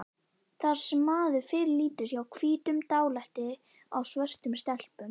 Það sem maður fyrirlítur hjá hvítum- dálæti á svörtum stelpum